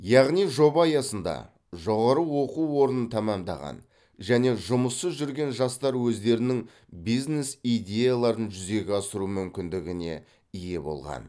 яғни жоба аясында жоғары оқу орнын тәмамдаған және жұмыссыз жүрген жастар өздерінің бизнес идеяларын жүзеге асыру мүмкіндігіне ие болған